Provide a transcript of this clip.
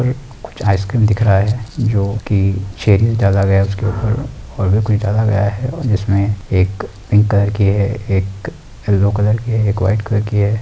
कुछ आइसक्रीम दिख रहा है जो की चेरी डाला गया है। उसके ऊपर और भी कुछ डाला गया है। जिसमें एक पिंक कलर की है एक येलो कलर की है एक वाइट कलर की है।